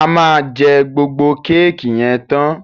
A ma jé gbógbó Kéèkì yen tán.